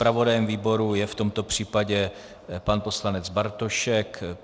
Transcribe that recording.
Zpravodajem výboru je v tomto případě pan poslanec Bartošek.